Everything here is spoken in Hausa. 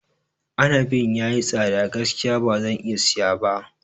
Inabin ya yi tsada gaskiya ba zan iya siya ba.